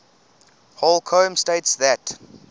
holcombe states that